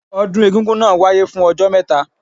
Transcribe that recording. Ọdún egúngún náà wáyé fún ọjọ́ mẹ́ta.